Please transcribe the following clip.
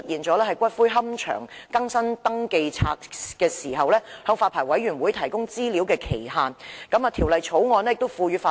在龕場為更新登記冊而向發牌委員會提供資料的時限方面，亦有同樣的問題。